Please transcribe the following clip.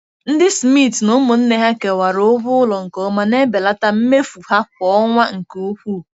Ndị Smiths na ụmụnne ha kewara ụgwọ ụlọ nke ọma, na-ebelata mmefu ha kwa ọnwa nke ukwuu.